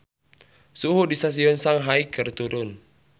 Suhu di Stadion Shanghai keur turun